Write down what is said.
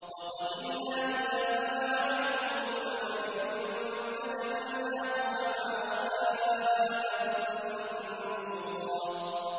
وَقَدِمْنَا إِلَىٰ مَا عَمِلُوا مِنْ عَمَلٍ فَجَعَلْنَاهُ هَبَاءً مَّنثُورًا